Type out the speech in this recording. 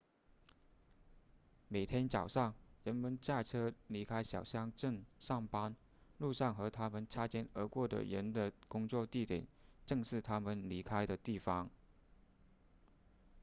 每天早上人们驾车离开小乡镇上班路上和他们擦肩而过的人的工作地点正是他们离开的地方